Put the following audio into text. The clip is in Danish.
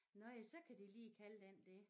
Nåh ja så kan de lige kalde den det